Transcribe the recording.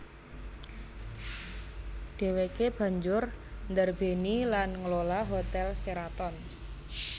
Dhèwèké banjur ndarbèni lan nglola Hotel Sheraton